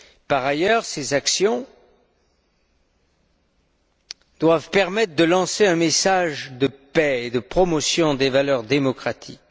Par ailleurs, ces actions doivent permettre de véhiculer un message de paix et de promotion des valeurs démocratiques.